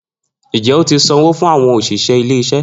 Njẹ o ti sanwo fun awọn oṣiṣẹ ile-iṣẹ